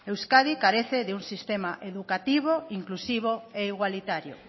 euskadi carece de un sistema educativo inclusivo e igualitario